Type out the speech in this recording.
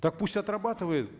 так пусть отрабатывают